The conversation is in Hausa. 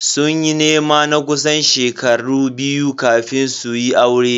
Sun yi nema na kusan shekaru biyu kafin su kayi aure.